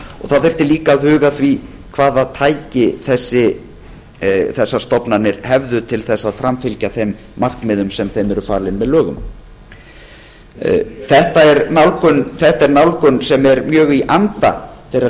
það þyrfti líka að huga að því hvaða tæki þessar stofnanir hefðu til að framfylgja þeim markmiðum sem þeim eru falin með lögum ellefu fjörutíu og sex núll átta ellefu fjörutíu og sex núll níu þetta er nálgun sem er mjög í anda þeirrar